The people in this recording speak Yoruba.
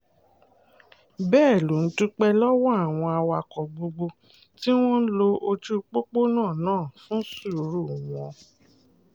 bẹ́ẹ̀ ló dúpẹ́ lọ́wọ́ àwọn awakọ̀ gbogbo tí wọ́n ń lo ojú pópó náà náà fún sùúrù wọn